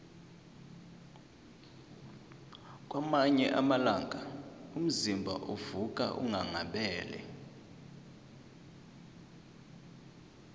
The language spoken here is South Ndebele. kwamanye amalanga umzimba uvuka unghanghabele